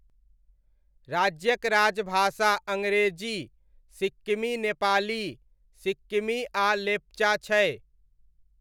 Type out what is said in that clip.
राज्यक राजभाषा अङ्ग्रेजी, सिक्किमी नेपाली, सिक्किमी आ लेप्चा छै।